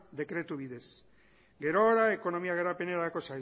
dekretu bidez gerora ekonomia garapenerako